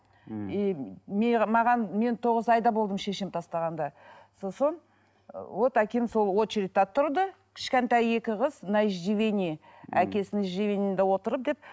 мхм маған мен тоғыз айда болдым шешем тастағанда сосын вот әкем сол очередьте тұрды кішкентай екі қыз